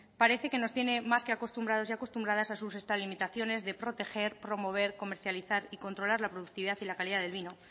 parece que nos tiene más que acostumbrados y acostumbradas a sus extralimitaciones de proteger promover comercializar y controlar la productividad y la calidad del vino